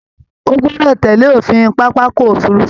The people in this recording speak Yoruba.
Ó gọdọ̀ tẹ̀lé òfin pápákọ òfurufú!